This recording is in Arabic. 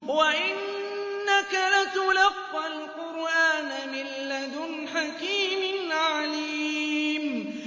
وَإِنَّكَ لَتُلَقَّى الْقُرْآنَ مِن لَّدُنْ حَكِيمٍ عَلِيمٍ